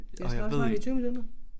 Vi har snart snakket i 20 minutter